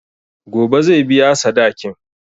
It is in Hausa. Gobe zai biya sadakin.